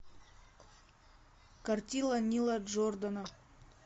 картина нила джордана